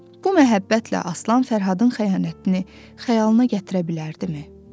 Bu məhəbbətlə Aslan Fərhadın xəyanətini xəyalına gətirə bilərdimi?